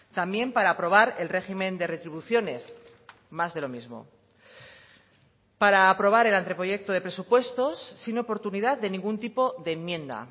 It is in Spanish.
también para aprobar el régimen de retribuciones más de lo mismo para aprobar el anteproyecto de presupuestos sin oportunidad de ningún tipo de enmienda